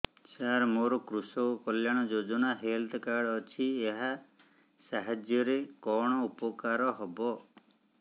ସାର ମୋର କୃଷକ କଲ୍ୟାଣ ଯୋଜନା ହେଲ୍ଥ କାର୍ଡ ଅଛି ଏହା ସାହାଯ୍ୟ ରେ କଣ ଉପକାର ହବ